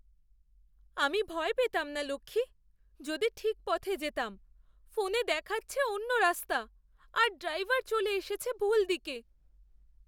আমি ভয় পেতাম না লক্ষ্মী, যদি ঠিক পথে যেতাম। ফোনে দেখাচ্ছে অন্য রাস্তা আর ড্রাইভার চলে এসেছে ভুল দিকে।